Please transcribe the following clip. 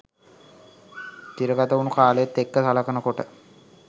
තිරගතවුණු කාලෙත් එක්ක සලකනකොට